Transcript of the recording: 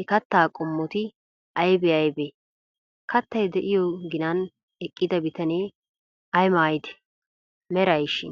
he kattaa qommoti aybee aybee? Kattay de'iyo ginan eqqida bitanee ay maayidee, merayshi?